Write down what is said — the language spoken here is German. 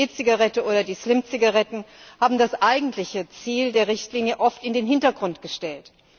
über die E Zigarette oder die Slim Zigaretten haben das eigentliche Ziel der Richtlinie oft in den Hintergrund gestellt.